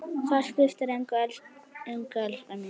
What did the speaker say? Það skiptir engu, elskan mín.